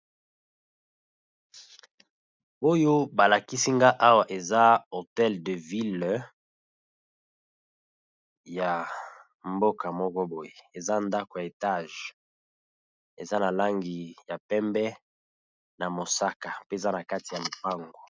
Oyo ba lakisi nga awa eza hotel de ville ya mboka moko boye, eza ndaku ya etage eza na langi ya pembe na mosaka pe eza na kati ya lopango .